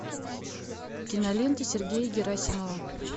кинолента сергея герасимова